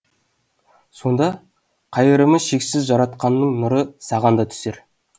сонда қайырымы шексіз жаратқанның нұры саған да түсер